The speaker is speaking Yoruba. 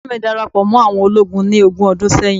baba mi darapo mo àwọn ologun ni ohun ọdún sẹyìn